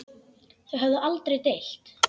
Þau höfðu aldrei deilt.